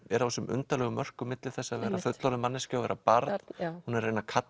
er á þessum undarlegu mörkum á milli þess að vera fullorðin manneskja og barn hún er að reyna kalla